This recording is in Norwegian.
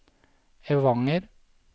Evanger